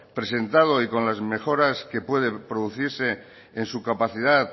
presentado y con las mejoras que pueden producirse en su capacidad